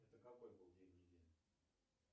это какой был день недели